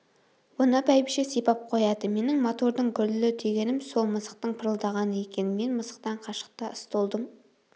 оны бәйбіше сипап қояды менің мотордың гүрілі дегенім сол мысықтың пырылдағаны екен мен мысықтан қашықта столдың